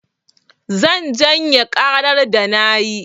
Zan janye ƙara da na yi.